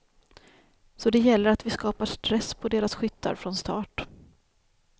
Så det gäller att vi skapar stress på deras skyttar från start.